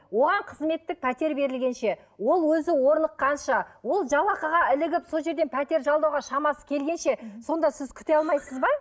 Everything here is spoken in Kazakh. оған қызметтік пәтер берілгенше ол өзі орныққанша ол жалақыға ілігіп сол жерде пәтер жалдауға шамасы келгенше сонда сіз күте алмайсыз ба